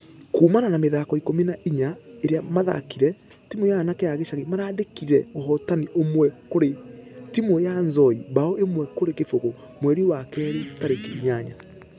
Kuumana na mĩthako ikũmi na inya iria mathakire , timu ya anake a gĩcagi maraandĩkire ũhotani ũmwe kũrĩ timũ ya nzoia bao ĩmwe kũrĩ kĩbũgũ mweri wa kerĩ tarĩkĩ inyanya.